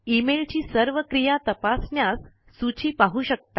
email ची सर्व क्रिया तपासण्यास सूची पाहू शकता